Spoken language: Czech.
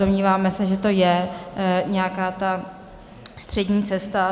Domníváme se, že to je nějaká ta střední cesta.